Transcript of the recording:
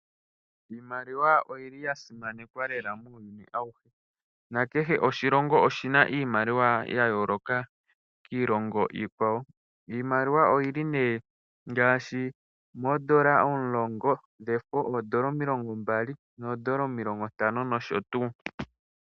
Iimaliwa oyi li ya simanekwa lela muuyuni auhe, nakehe oshilongo oshi na iimaliwa ya yooloka kiilongo iikwawo. Iimaliwa oyi li ngaashi moondola omulongo dhefo, noondola omilongo mbali, noondola omilongo ntano nosho tuu.